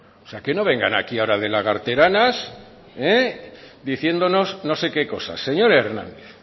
o sea que no vengan aquí ahora de lagarteranas diciéndonos no se qué cosas señor hernández